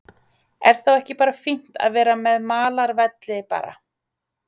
Er þá ekki bara fínt að vera með malarvelli bara?